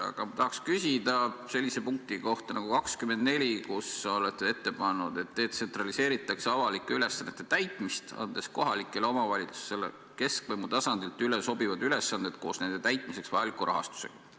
Aga ma tahan küsida sellise punkti kohta nagu 24, kus te olete ette pannud, et detsentraliseeritakse avalike ülesannete täitmist, andes kohalikele omavalitsustele keskvõimu tasandilt üle sobivad ülesanded koos nende täitmiseks vajaliku rahastusega.